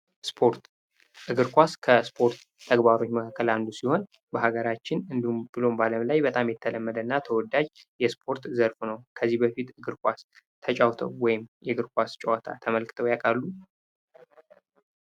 ስፖርት እግር ኳስ ከስፖርት ተግባሮች መካከል አንዱ ሲሆን በሀገራችን እንዲሁም ብሎም በአለም ላይ በጣም የተለመደና ተወዳጅ የስፖርት ዘርፍ ነው። ከዚህ በፊት እግር ኳስ ተጫውተው ወይም የእግር ኳስ ጨዋታ ተመልከተው ያቃሉ?